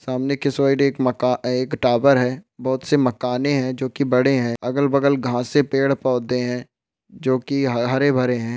सामने की साइड एक टावर है बहुत सा मकाने है जो की बड़े है अगल बगल घासे है पैड पौधे है जो की हरे भरे है।